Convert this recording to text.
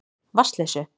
Vatnsleysu